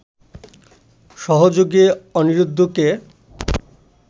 সহযোগে অনিরুদ্ধকে